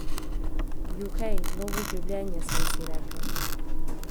Juhej, novo življenje, sem si rekla!